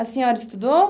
A senhora estudou?